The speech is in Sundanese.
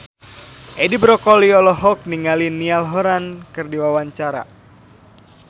Edi Brokoli olohok ningali Niall Horran keur diwawancara